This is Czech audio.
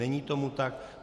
Není tomu tak.